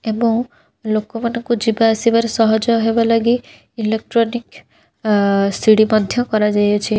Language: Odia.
ଏବଂ ଲୋକମାନଙ୍କୁ ଯିବା ଆସିବାରେ ସହଯୋଗ ହେବା ଲାଗି ଇଲୋଟ୍ରୋନିକ ଆ ସିଡ଼ି ମଧ୍ୟ କରା ଯାଇଅଛି।